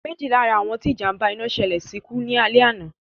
Méjì lá ra àwọn tí ìjàm̀ba iná ṣẹlẹ̀ sí kú ní alẹ́ àná